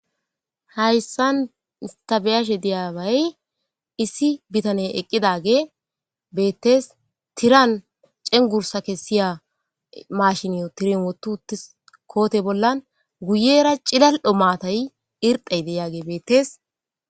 Hayssan stabeyashe diyabay issi bitane eqqidage beettees tiran cengursa kessiya mashiniyo tirin wotuti koote bollan guyera cilal'o maatay irxey deyaage bettees.